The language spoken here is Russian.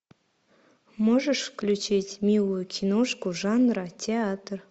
можешь включить милую киношку жанра театр